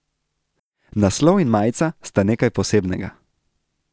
Naslov in majica sta nekaj posebnega.